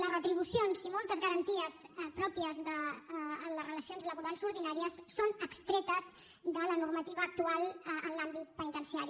les retribucions i moltes garanties pròpies de les relacions laborals ordinàries són extretes de la normativa actual en l’àmbit penitenciari